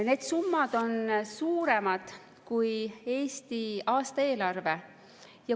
Need summad on suuremad kui Eesti aastaeelarve.